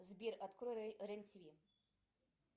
сбер открой рен тв